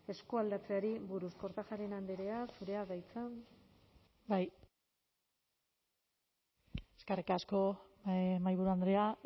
eskualdatzeari buruz kortajarena andrea zurea da hitza eskerrik asko mahaiburu andrea